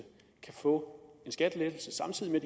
kan få en skattelettelse samtidig med